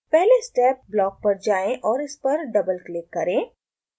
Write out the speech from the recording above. पहले step block पर जाएँ और इस पर डबल क्लिक करें